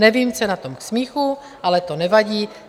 Nevím, co je na tom k smíchu, ale to nevadí.